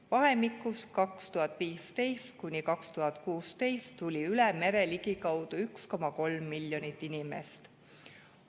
Vahemikus 2015–2016 tuli üle mere ligikaudu 1,3 miljonit inimest.